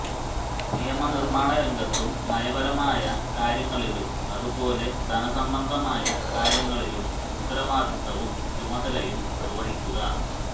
നിയമനിര്മ്മാണ രംഗത്തും നയപരമായ കാര്യങ്ങളിലും അതുപോലെ ധനസംബന്ധമായ കാര്യങ്ങളിലും ഉത്തരവാദിത്തവും ചുമതലയും നിര്വ്വഹിക്കുക